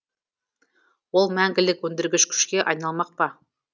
ол мәңгілік өндіргіш күшке айналмақ па